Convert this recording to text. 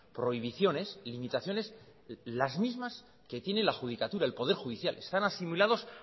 prohibiciones limitaciones las mismas que tiene la judicatura el poder judicial están asimilados